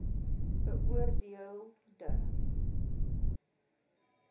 beoor deel de